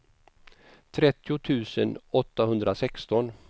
trettio tusen åttahundrasexton